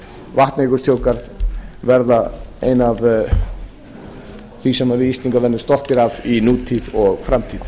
vatnajökulsþjóðgarð verða eitt af því sem við íslendingar verðum stoltir af í nútíð og framtíð